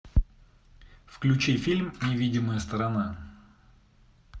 включи фильм невидимая сторона